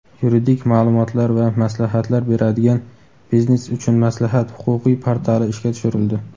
yuridik ma’lumotlar va maslahatlar beradigan "Biznes uchun maslahat" huquqiy portali ishga tushirildi.